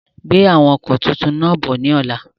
Gbe àwọn ọkọ tuntun náà bọ̀ ni ọ̀la!